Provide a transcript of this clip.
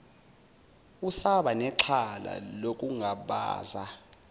usaba nexhala nokungabaza